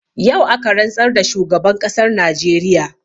Yau aka rantsar da shugaban ƙasar najeriya